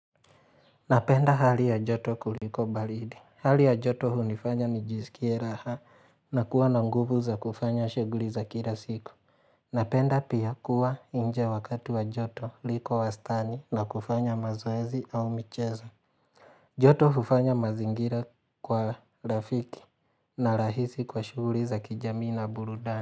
Napenda hali ya joto kuliko balidi. Hali ya joto hunifanya nijisikie raha na kuwa na nguvu za kufanya shuguli za kila siku. Napenda pia kuwa nje wakati wa joto liko wastani na kufanya mazoezi au mcheza. Joto hufanya mazingira kwa rafiki na rahisi kwa shuguli za kijamii na burudani.